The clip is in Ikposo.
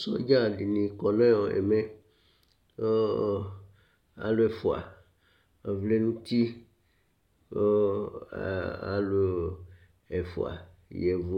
Sɔdzi dìní kɔ nʋ ɛmɛ Alu ɛfʋa vlɛ nʋti Alu yavʋ